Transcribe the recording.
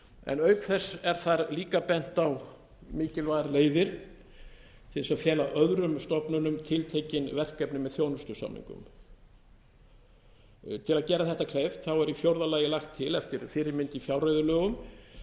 en auk þess er þar líka bent á mikilvægar leiðir til þess að fela öðrum stofnunum tiltekin verkefni með þjónustusamningum til að gera þetta kleift er í fjórða lagi til eftir fyrirmynd í fjárreiðulögum